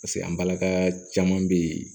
Paseke an balaka caman be yen